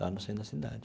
Lá, no centro da cidade.